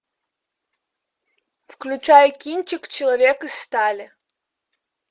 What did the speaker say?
включай кинчик человек из стали